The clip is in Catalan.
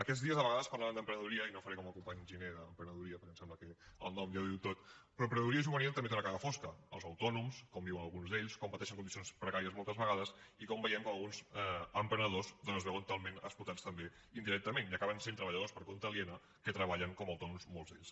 aquests dies a vegades parlàvem d’emprenedoria i no faré com el company giner d’emprenedoria perquè em sembla que el nom ja ho diu tot però l’emprenedoria juvenil també té una cara fosca els autònoms com viuen alguns d’ells com pateixen condicions precàries moltes vegades i com veiem com alguns emprenedors doncs es veuen totalment explotats també indirectament i acaben sent treballadors per compte aliena que treballen com a autònoms molts d’ells